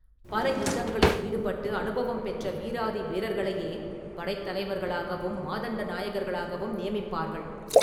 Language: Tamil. பல யுத்தங்களில் ஈடுபட்டு அனுபவம் பெற்ற வீராதி வீரர்களையே படைத் தலைவர்களையும் மாதண்ட நாயகர்களாகவும் நியமிப்பார்கள்.